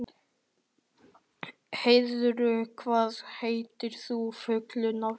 Heiður, hvað heitir þú fullu nafni?